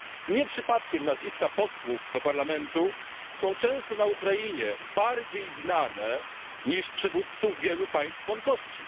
Nie przypadkiem nazwiska posłów do Parlamentu są często na Ukrainie bardziej znane niż przywódców wielu państw członkowskich.